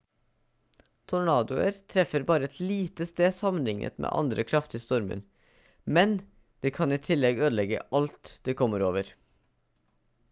tornadoer treffer bare et lite sted sammenlignet med andre kraftige stormer men de kan i tillegg ødelegge alt de kommer over